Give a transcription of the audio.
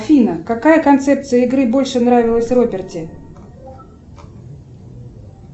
афина какая концепция игры больше нравилась роберте